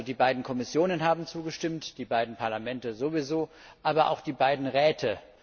Die beiden Kommissionen haben zugestimmt, die beiden Parlamente sowieso, aber auch die beiden Räte.